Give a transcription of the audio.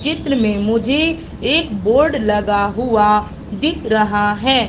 चित्र में मुझे एक बोर्ड लगा हुआ दिख रहा है।